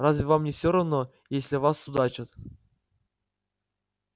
разве вам не все равно если о вас судачат